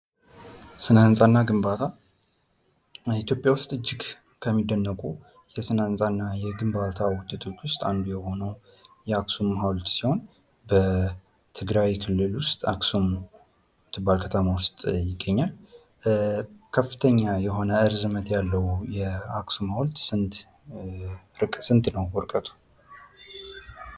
ስነ-ህንፃ እና ግንባታ ኢትዮጵያ ውስጥ እጅግ የሚደነቁ የስነ-ህንፃ እና ግንባታ ውጤቶች ውስጥ አንዱ የሆነው የአክሱም ሐውልት ሲሆን በትግራይ ክልል ውስጥ አክሱም ምትባል ከተማ ውስጥ ይገኛል። ከፍተኛ የሆነ ርዝመት ያለው አክሱም ሃውልት ስንት ነው ርቀቱ።